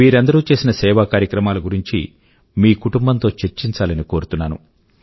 వీరందరూ చేసిన సేవా కార్యక్రమాల గురించి మీ కుటుంబం తో చర్చించాలని కోరుతున్నాను